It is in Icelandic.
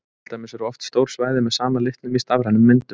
Til dæmis eru oft stór svæði með sama litnum í stafrænum myndum.